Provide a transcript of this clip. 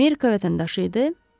Amerika vətəndaşı idi?